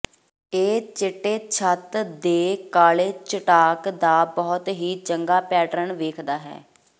ਇਹ ਚਿੱਟੇ ਛੱਤ ਦੇ ਕਾਲੇ ਚਟਾਕ ਦਾ ਬਹੁਤ ਹੀ ਚੰਗਾ ਪੈਟਰਨ ਵੇਖਦਾ ਹੈ